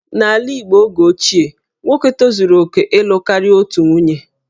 N'ala Igbo oge ochie, nwoke tozuru oke ịlụ karịa otu nwunye